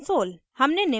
हमने निम्न भी सीखा